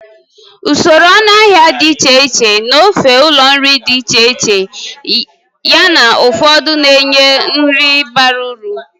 Usoro ọnụahịa dị iche iche n'ofe ụlọ nri dị iche iche, yana ụfọdụ na-enye nri bara uru.